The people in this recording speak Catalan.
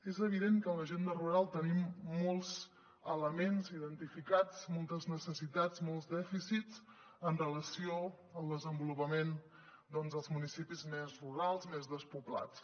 és evident que en l’agenda rural tenim molts elements identificats moltes necessitats molts dèficits amb relació al desenvolupament dels municipis més rurals més despoblats